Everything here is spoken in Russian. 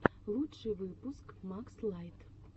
лучший выпуск макс лайт